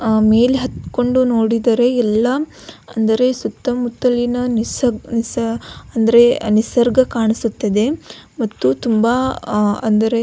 ಆ ಮೇಲೆ ಹತ್ತಕೊಂಡು ನೋಡಿದರೆ ಎಲ್ಲಾ ಅಂದರೆ ಸುತ್ತಮುತ್ತಲಿನ ನಿಸ್ ನಿಸ್ ಅಂದ್ರೆ ನಿಸರ್ಗ ಕಾಣಿಸುತ್ತದೆ ಮತ್ತು ತುಂಬಾ ಅಹ್ ಅಂದರೆ --